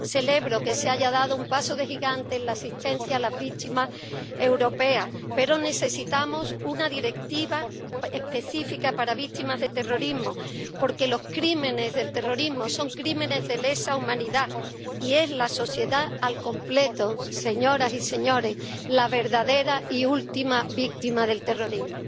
Celebro que se haya dado un paso de gigante en la asistencia a las víctimas europeas, pero necesitamos una directiva específica para víctimas del terrorismo, porque los crímenes del terrorismo son crímenes de lesa humanidad y es la sociedad al completo, señoras y señores, la verdadera y última víctima del terrorismo.